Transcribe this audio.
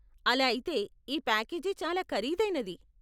ఆలా అయితే , ఈ ప్యాకేజీ చాలా ఖరీదైనది.